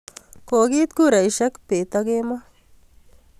Ko kiit kuraisyek peet ak kemoi